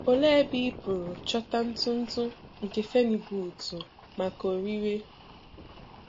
Olee ebe ị pụrụ Chọta ntụ ntụ nke Phenibutu maka òríré?